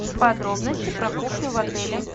подробности про кухню в отеле